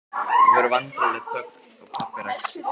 Það verður vandræðaleg þögn og pabbi ræskir sig.